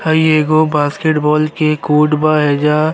हई एगो basketball के कोर्ट बा एजा --